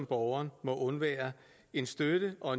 borgeren må undvære en støtte og